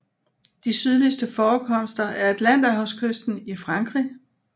De sydligste forekomster er Atlanterhavskysten i Frankrig